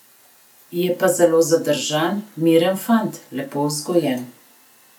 Je pa zelo zadržan, miren fant, lepo vzgojen.